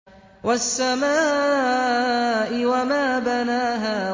وَالسَّمَاءِ وَمَا بَنَاهَا